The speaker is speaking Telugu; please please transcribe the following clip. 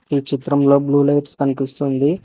ఈ చిత్రంలో బ్లూ లైట్స్ కనిపిస్తుంది.